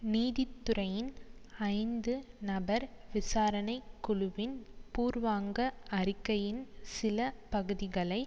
நீதி துறையின் ஐந்து நபர் விசாரணை குழுவின் பூர்வாங்க அறிக்கையின் சில பகுதிகளை